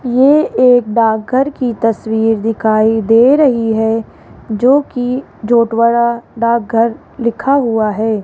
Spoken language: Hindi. ये एक डाकघर की तस्वीर दिखाई दे रही है जोकि झोटवाड़ा डाकघर लिखा हुआ है।